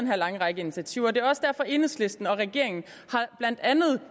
her lange række af initiativer det er også derfor enhedslisten og regeringen